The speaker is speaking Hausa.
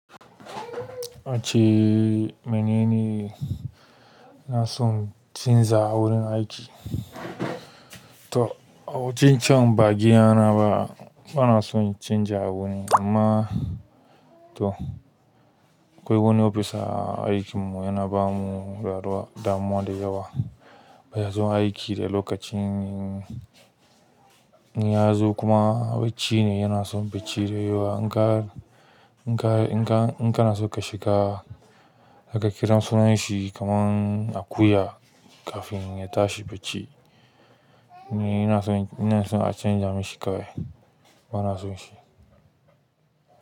Wacci, mene ne na son chanza wurin aiki? To a wucin can ba giya na ba, bana son chanza wuri amma to akwai wani ofisa aikinmu yana ba mu damuwa da yawa. Ba ya son aiki da lokaci, in ya zo kuma bacci ne, yana son bacci da yawa. In ka, in ka, in ka, in ka na so ka shiga, aka kira sunan shi kaman a akuya kafin ya tashi bacci. Ni yana son, ina son a canza mishi kawai. Bana son shi.